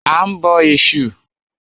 A ń bọ Ẹ̀sù.